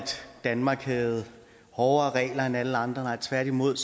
danmark havde hårdere regler end alle andre nej tværtimod